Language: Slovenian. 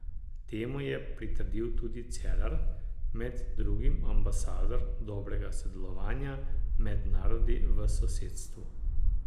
Temu je pritrdil tudi Cerar, med drugim ambasador dobrega sodelovanja med narodi v sosedstvu.